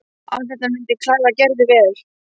Allt þetta myndi klæða Gerði vel.